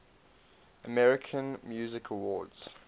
american music awards